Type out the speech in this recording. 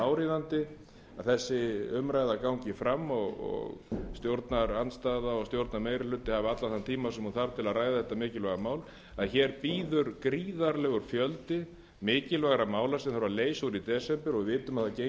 áríðandi að þessi umræða gangi fram og stjórnarandstaða og stjórnarmeirihluti hafi allan þann tíma sem hún þarf til að ræða þetta mikilvæga mál en hér bíður gríðarlegur fjöldi mikilvægra mála sem þarf að leysa úr í desember og við vitum að það gengur alla